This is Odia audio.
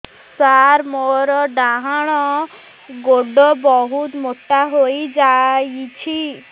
ସାର ମୋର ଡାହାଣ ଗୋଡୋ ବହୁତ ମୋଟା ହେଇଯାଇଛି